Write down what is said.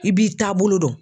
I b'i taabolo dɔn.